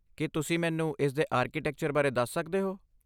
ਕੀ ਤੁਸੀਂ ਮੈਨੂੰ ਇਸਦੇ ਆਰਕੀਟੈਕਚਰ ਬਾਰੇ ਦੱਸ ਸਕਦੇ ਹੋ?